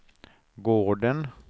gården